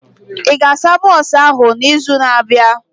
Ị ga-asa bọsụ ahụ na izu na abịa?